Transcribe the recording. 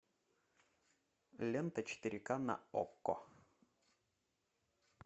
лента четыре ка на окко